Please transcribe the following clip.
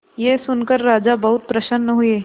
यह सुनकर राजा बहुत प्रसन्न हुए